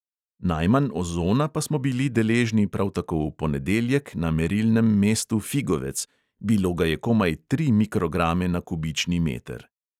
Najmanj ozona pa smo bili deležni prav tako v ponedeljek na merilnem mestu figovec – bilo ga je komaj trije mikrograme na kubični meter.